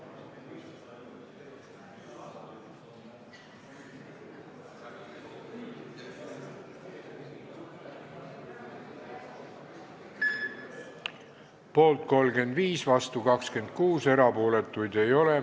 Hääletustulemused Poolt 35, vastu 26, erapooletuid ei ole.